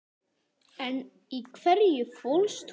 En í hverju fólst hún?